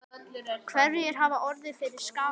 Hverjir hafa orðið fyrir skaða?